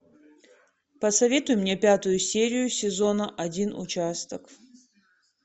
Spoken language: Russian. посоветуй мне пятую серию сезона один участок